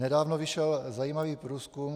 Nedávno vyšel zajímavý průzkum.